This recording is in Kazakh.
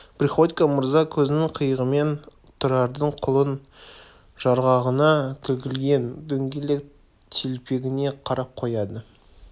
приходько мырза көзінің қиығымен тұрардың құлын жарғағынан тігілген дөңгелек телпегіне қарап қояды